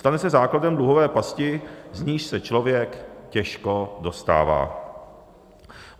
Stane se základem dluhové pasti, z níž se člověk těžko dostává.